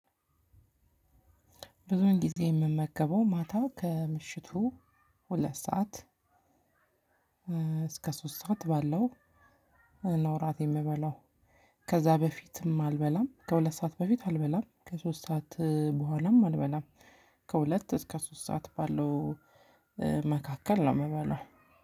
ብዙን ጊዜ የምመገበው ማታ ከምሽቱ ሁለት ሰዓት እስከ ሶስት ሰዓት ባለው ነው እራት የምበላው። ከዛ በፊትም አልበላም ከሁለት ሰዓት በፊት አልበላም ከሶስት ሰዓት በኋላም አልበላም። ከሁለት እስከ ሶስት ሰዓት ባለው መካከል ነው የምበላው።